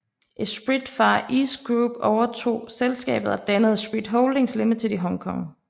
Esprit Far East Group overtog selskabet og dannede Esprit Holdings Limited i Hong Kong